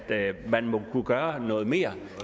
man må kunne gøre noget mere